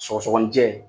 Sɔgɔsɔgɔnijɛ